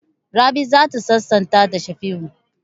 Rabi za ta sasanta da Shafi'u.